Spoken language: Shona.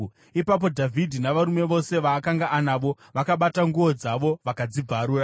Ipapo Dhavhidhi navarume vose vaakanga anavo vakabata nguo dzavo vakadzibvarura.